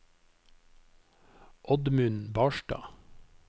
Oddmund Barstad